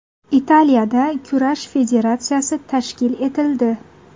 Italiyada kurash federatsiyasi tashkil etildi.